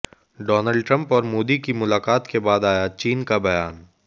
Donald Trump और मोदी की मुलाकात के बाद आया चीन का बयान